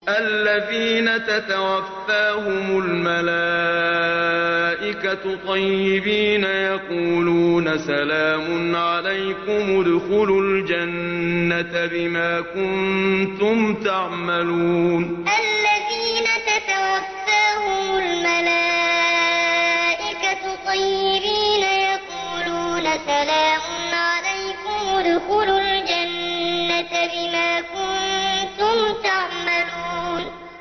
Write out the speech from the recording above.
الَّذِينَ تَتَوَفَّاهُمُ الْمَلَائِكَةُ طَيِّبِينَ ۙ يَقُولُونَ سَلَامٌ عَلَيْكُمُ ادْخُلُوا الْجَنَّةَ بِمَا كُنتُمْ تَعْمَلُونَ الَّذِينَ تَتَوَفَّاهُمُ الْمَلَائِكَةُ طَيِّبِينَ ۙ يَقُولُونَ سَلَامٌ عَلَيْكُمُ ادْخُلُوا الْجَنَّةَ بِمَا كُنتُمْ تَعْمَلُونَ